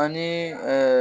Ani